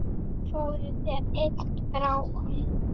Fáðu þér einn gráan!